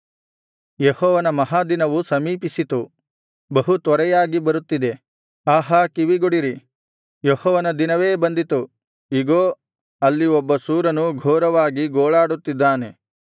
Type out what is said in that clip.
ಯೆಹೋವನ ಮಹಾದಿನವು ಸಮೀಪಿಸಿತು ಬಹು ತ್ವರೆಯಾಗಿ ಬರುತ್ತಿದೆ ಆಹಾ ಕಿವಿಗೊಡಿರಿ ಯೆಹೋವನ ದಿನವೇ ಬಂದಿತು ಇಗೋ ಅಲ್ಲಿ ಒಬ್ಬ ಶೂರನು ಘೋರವಾಗಿ ಗೋಳಾಡುತ್ತಿದ್ದಾನೆ